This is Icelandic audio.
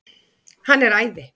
Hann er æði.